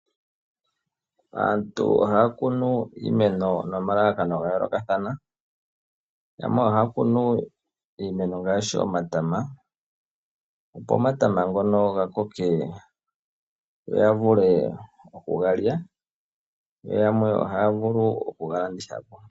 Aantu ohaya kunu iimeno nomalalakano ga yoolokathana, yamwe ohaya kunu iimeno ngaashi omatama opo omatama ngono ga koke yo ya vule okuga lya, yo yamwe ohaya vulu oku ga landitha po.